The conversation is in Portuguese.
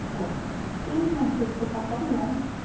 Ele falou, ih minha filha, você está tão longe.